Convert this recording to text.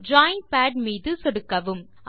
drawing pad மீது சொடுக்கவும்